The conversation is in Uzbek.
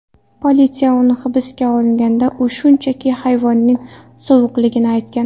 Politsiya uni hibsga olganida, u shunchaki havoning sovuqligini aytgan.